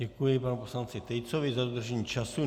Děkuji panu poslanci Tejcovi za dodržení času.